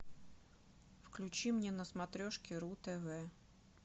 включи мне на смотрешке ру тв